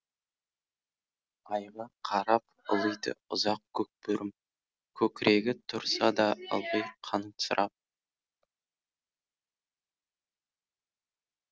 айға қарап ұлиды ұзақ көкбөрім көкірегі тұрса да ылғи қансырап